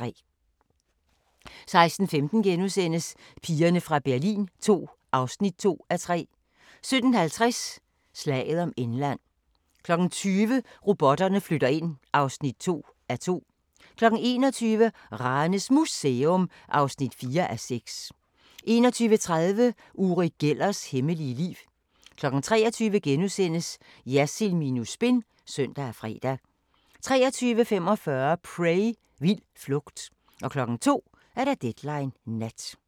16:15: Pigerne fra Berlin II (2:3)* 17:50: Slaget om England 20:00: Robotterne flytter ind (2:2) 21:00: Ranes Museum (4:6) 21:30: Uri Gellers hemmelige liv 23:00: Jersild minus spin *(søn og fre) 23:45: Prey – Vild flugt 02:00: Deadline Nat